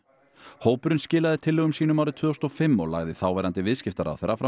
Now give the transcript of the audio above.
hópurinn skilaði tillögum sínum árið tvö þúsund og fimm og lagði þáverandi viðskiptaráðherra fram